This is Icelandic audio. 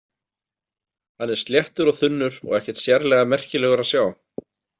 Hann er sléttur og þunnur og ekkert sérlega merkilegur að sjá.